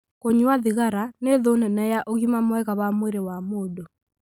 Kũnyua thigara nĩ thũ nene ya ũgima mwega wa mwĩrĩ wa mũndũ.